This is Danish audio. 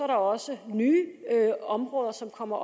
der også nye områder som kommer